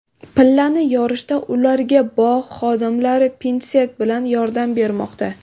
Pillani yorishda ularga bog‘ xodimlari pinset bilan yordam bermoqda.